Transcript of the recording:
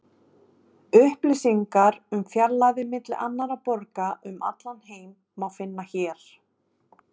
Upplýsingar um fjarlægðir milli annarra borga um allan heim má finna hér.